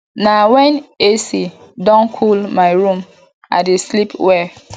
na wen ac don cool my room i dey sleep well